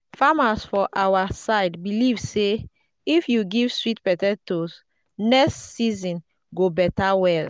farmers for our side believe say if you give sweet potatoes next season go better well.